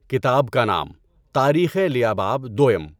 کتاب کا نام: تاریخِ لیہ باب دوٸم